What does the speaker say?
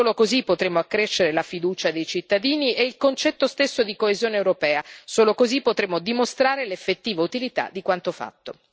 Solo così potremo accrescere la fiducia dei cittadini e il concetto stesso di coesione europea, solo così potremo dimostrare l'effettiva utilità di quanto fatto.